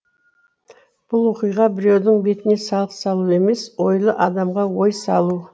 бұл оқиға біреудің бетіне салық салу емес ойлы адамға ой салу